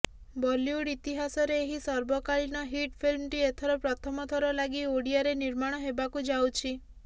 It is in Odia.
ବଲିଉଡ୍ ଇତିହାସରେ ଏହି ସର୍ବକାଳୀନ ହିଟ୍ ଫିଲ୍ମଟି ଏଥର ପ୍ରଥମଥର ଲାଗି ଓଡ଼ିଆରେ ନିର୍ମାଣ ହେବାକୁ ଯାଉଛି